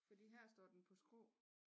Fordi her står den på skrå